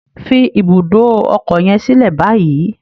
Fi ibùdó ọkọ yen silẹ bayi!